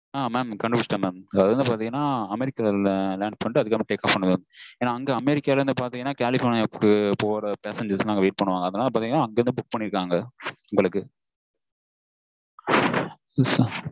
ஆஹ் mam கண்டுபுடிச்சுட்டன் mam அது வந்து பாத்தீங்கனா அமெரிக்கால land பண்ணிட்டு அப்புறம் take off ஏன்னா அங்க அமெரிக்கா வந்து கலிஃபொர்னியாக்கு போற passengers லாம் wait பண்ணுவாங்க